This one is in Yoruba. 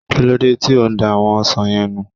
Kílódé tí o da àwọn ọsàn yẹn nù?